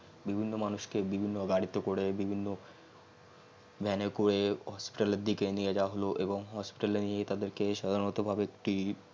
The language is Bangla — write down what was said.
বিভিন্ন মানুষ কে বিভিন্ন গারিতে করে বিভিন্ন van করে হাসপাতাল এর দিকে নিয়ে জাওয়া হল এবং hospital নিয়ে তাদের কে সাধারনত ভাবে একটি